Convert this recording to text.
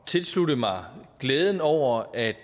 tilslutte mig glæden over at